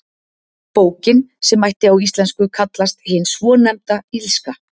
Bókin, sem mætti á íslensku kallast Hin svonefnda illska.